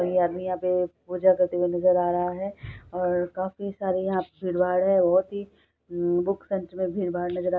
एक आदमी यहा पे पूजा करते हुए नजर आ रहा है और काफी सारे यहा पे भीड़ भाड़ है और बहुत ही बुक सेण्टर मे भीड भाड़ लग रहा--